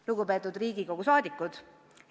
Lugupeetud Riigikogu liikmed!